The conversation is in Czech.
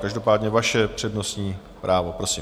Každopádně vaše přednostní právo, prosím.